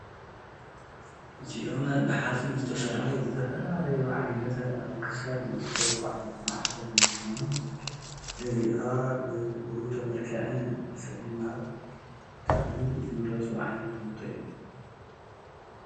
እዚኦም ብሓፂን ዝተሰርሑ ዝተፈላለዩ ዓይነት አብ ክሳድ ዝእሰሩ ዓይነት ማዕተብ እንትኾኑ ገዚእኻ ብዉህብቶ መልክዕ ንሰብ ንምሃብ ብጣዕሚ ዝምረፁ ዓይነት ዉህብቶ እዮም።